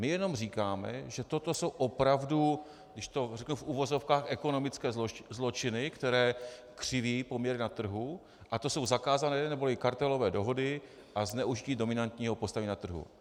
My jenom říkáme, že toto jsou opravdu, když to řeknu v uvozovkách, ekonomické zločiny, které křiví poměry na trhu, a to jsou zakázané neboli kartelové dohody a zneužití dominantního postavení na trhu.